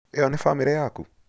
ĩno nĩ bamĩrĩ yaku?